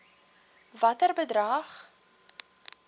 watter bedrag